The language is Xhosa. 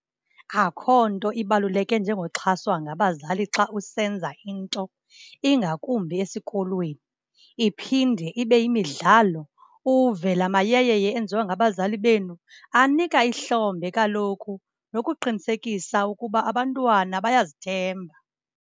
Akhonto ibaluleke njengo xhaswa ngabazali xa usenza into, ingakumbi esikolweni. Iphinde ibe yimidlalo, uve lamayeyeye enziwa ngabazali benu. Anika ihlombe kaloku nokuqinisekisa ukuba abantwana bayazithemba.